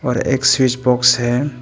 अ एक switch box है।